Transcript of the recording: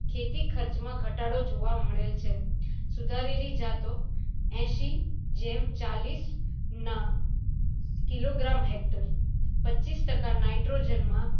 ખેતી ખર્ચ માં ઘટાડો જોવા મળેલ છે સુધારેલી જતો એસી જેમ ચાલીસ ના kilogram hector પચીસ ટકા nitrogen માં